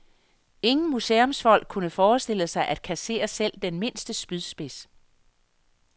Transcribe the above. Ingen museumsfolk kunne forestille sig at kassere selv den mindste spydspids.